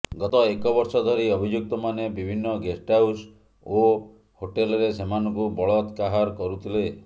ଗତ ଏକବର୍ଷ ଧରି ଅଭିଯୁକ୍ତମାନେ ବିଭିନ୍ନ ଗେଷ୍ଟହାଉସ୍ ଓ ହୋଟେଲରେ ସେମାନଙ୍କୁ ବଳତ୍କାହର କରୁଥିଲେ